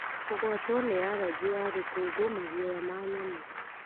Kũgwatwo nĩ aragĩ ya rũkũngũ, maguoya ma nyamũ,